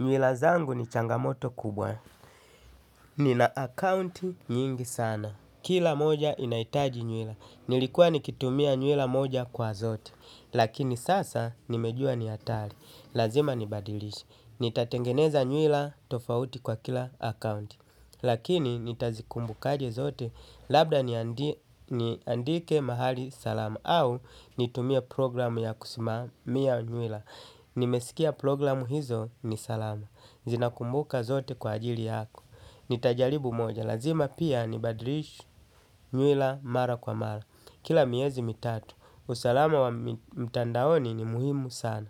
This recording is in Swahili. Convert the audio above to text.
Nywila zangu ni changamoto kubwa. Nina akaunti nyingi sana. Kila moja inahitaji nywila. Nilikuwa nikitumia nywila moja kwa zote. Lakini sasa nimejua ni hatari. Lazima nibadilishe. Nitatengeneza nywila tofauti kwa kila akaunti. Lakini nitazikumbukaje zote. Labda niandike mahali salama. Au nitumie programu ya kusimamia nywila. Nimesikia programu hizo ni salama. Zinakumbuka zote kwa ajili yako. Nitajaribu moja. Lazima pia ni badilishe nywila mara kwa mara kila miezi mitatu. Usalama wa mtandaoni ni muhimu sana.